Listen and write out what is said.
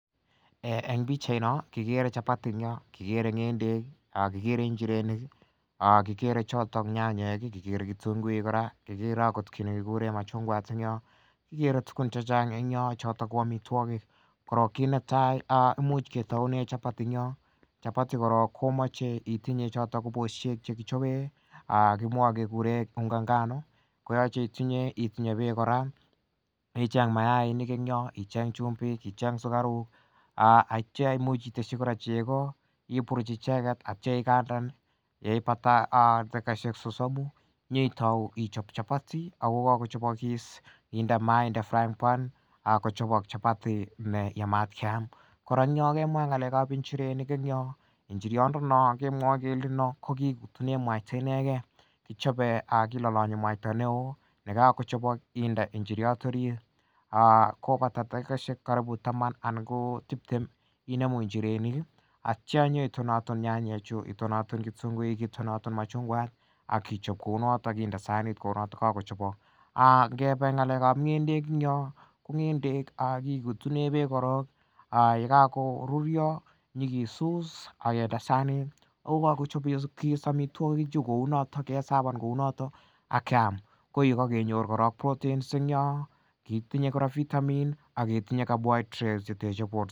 En pichait noon kekere chapati, kikere marakwek, ak kikere choton nyanyek ih , kikere kityo nguek kora , kit nekikuren machungwat en Yoon, kikere tugul chechang en yohn noto ko amituakik. Koron kit netai imuche ketaunen chapati , chapati koron komache itinye ko bosuek chekichaben kikuren unga nganu itinye ichaben kora mayainik en Yoon icheng chumbik, icheng sukaruk, aitya imuch iteshi chego , iburuch aitya ikandan ih , yeibata dakokaishek sosomu inyetau ichab chabati ako kakochabakis inde mayaik, inde frying pan kochabok . Kora kemwa ng'alekab inchirenik ko inchiriot nenon kemwae kele kokikelen mwaitab ineken kichoben ak kilalanyi mwaitab neoonekakochobok inde inchiriot orit kobata takikoshek taman anan ko tiptem inemu aktya inyetonatona nyanyek chu akichob kounoton akinde maat kounato ingebee ng'alekab ng'endek en yoo ak kikutunee beek koron ak yekakorurio kenyake sut akinde sanit kokakochavok kounatok akinde sanit akoyaam kokakenyor kora protein, vitamin carbohydrates en Yoon